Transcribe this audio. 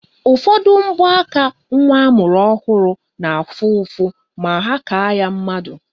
Ụfọdụ mbọaka nwa amụrụ ọhụrụ na-afụ ụfụ ma ha kaa ya mmadụ.